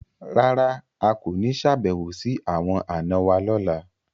Rárà, a ko ni ṣabẹwo si awọn ana wa lọla